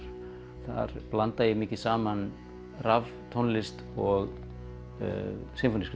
þar blanda ég mikið saman raftónlist og